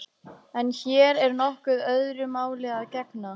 En hér er nokkuð öðru máli að gegna.